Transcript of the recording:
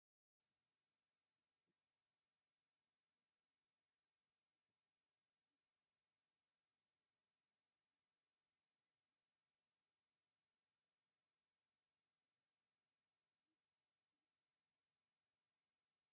እንስሳታት፡ - ኣብ ገዛን ኣብ በረኻን ዝነብሩ እንስሳታት ተባሂሎም ይምቀሉ፡፡ ካብቶም ኣብ ገዛ ዝነብሩ እንስሳታት ሓንቲ ኣድጊ (ዒሉ) እያ፡፡ ኣብዚ ዘላ ዒሉ እንታይ ትሪኢ ኣላ?